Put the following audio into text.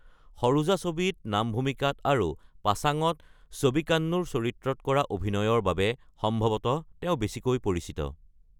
সৰোজা ছবিত নামভূমিকাত আৰু পাছাঙত ছ’বিকান্নুৰ চৰিত্ৰত কৰা অভিনয়ৰ বাবে সম্ভৱতঃ তেওঁ বেছিকৈ পৰিচিত।